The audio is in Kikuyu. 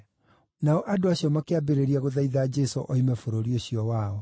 Nao andũ acio makĩambĩrĩria gũthaitha Jesũ oime bũrũri ũcio wao.